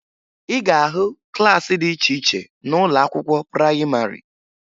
Ị ga-ahụ klaasị dị iche iche n'ụlọ akwụkwọ prayịmarị